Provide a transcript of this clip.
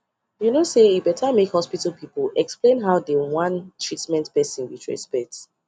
you no say e better make hospital people explain how dey wan treatment person with respect